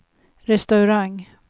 restaurang